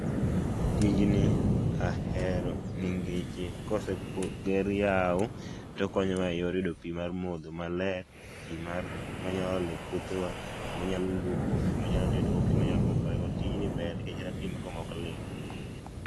tijni ahero nikech koseger yao, to okonyowa e yor yudo pii mar modho maler, pii ma waolo e puothewa, manyalo luokogo, pii manyalo tedogo, pii manyalo luokorego, nikech kata pii maotwomogo okolil